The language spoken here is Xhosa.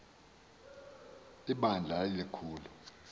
bandla lali likhulu